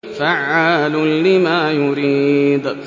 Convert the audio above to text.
فَعَّالٌ لِّمَا يُرِيدُ